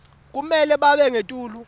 kumele babe ngetulu